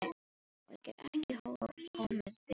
Og ég get ekki komið við hana.